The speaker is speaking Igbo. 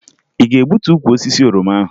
Ị ga-egbutu ukwu osisi oroma ahụ?